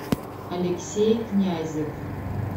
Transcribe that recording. алексей князев